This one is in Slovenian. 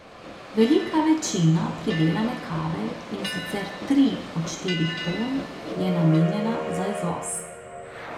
Velika večina pridelane kave, in sicer tri od štirih ton, je namenjena za izvoz.